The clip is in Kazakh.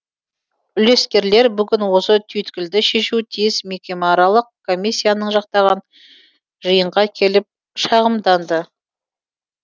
үлескерлер бүгін осы түйткілді шешуі тиіс мекемеаралық комиссияны жақтаған жиынға келіп шағымданды